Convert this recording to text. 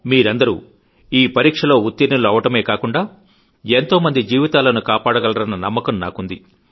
మీరందరూ ఈ పరీక్షలో ఉత్తీర్ణులు అవడమే కాకుండా ఎంతో మంది జీవితాలను కాపాడగలరన్న నమ్మకం నాకుంది